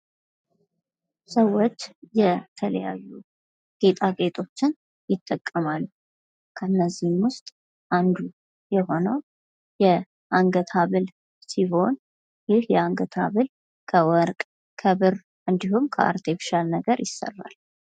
ሰዎች የተለያዩ ጌጣጌጦችን ይጠቀማሉ ከእነዛ መካከል አንዱ የሆነው የአንገት ሀብል ሲሆን የአንገት ሀብል ከወርቅ ከብር እንዲሁም ከአርብሻል ነገር ይሰራል።